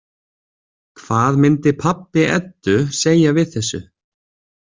Hvað myndi pabbi Eddu segja við þessu?